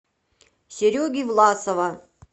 сереги власова